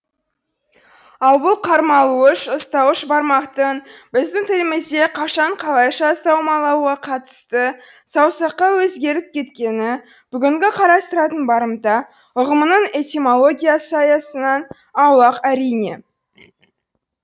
ал бұл қармалауыш ұстауыш бармақтың біздің тілімізде қашан қалайша саумалауға қатысты саусаққа өзгеріп кеткені бүгінгі қарастыратын барымта ұғымының этимологиясы аясынан аулақ әрине